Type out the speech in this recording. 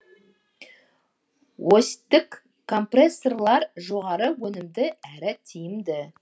осьтік компрессорлар жоғары өнімді әрі тиімді